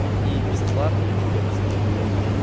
и бесплатные топскин